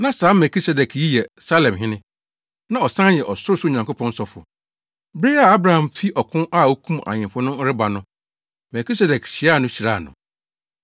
Na saa Melkisedek yi yɛ Salemhene, na ɔsan yɛ Ɔsorosoro Nyankopɔn sɔfo. Bere a Abraham fi ɔko a okum ahemfo ano reba no, Melkisedek hyiaa no hyiraa no.